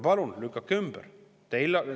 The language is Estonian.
Palun, lükake ümber!